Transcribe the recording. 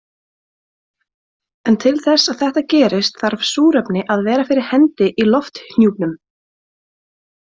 En til þess að þetta gerist þarf súrefni að vera fyrir hendi í lofthjúpnum.